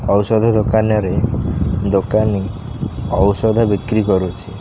ଔଷଧ ଦୋକାନରେ ଦୋକାନୀ ଔଷଧ ବିକ୍ରି କରୁଚି।